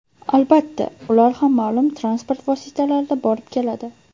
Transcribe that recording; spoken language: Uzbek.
Albatta, ular ham ma’lum transport vositalarida borib-keladi.